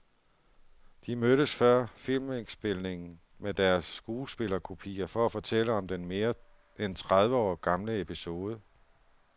De mødtes før filmindspilningen med deres skuespillerkopier for at fortælle om den mere end tredive år gamle episode.